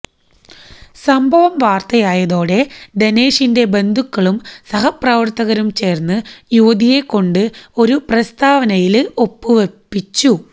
സംഭവം വാര്ത്തയായതോടെ ധനേഷിന്റെ ബന്ധുക്കളും സഹപ്രവര്ത്തകരും ചേര്ന്ന് യുവതിയെക്കൊണ്ട് ഒരു പ്രസ്താവനയില് ഒപ്പുവപ്പിച്ചു